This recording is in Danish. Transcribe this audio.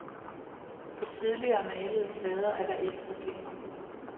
På tidligere malede plader er der ikke problemer.